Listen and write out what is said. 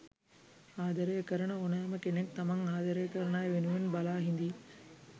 ආදරය කරන ඕනෑම කෙනෙක් තමන් ආදරය කරන අය වෙනුවෙන් බලා හිඳියි.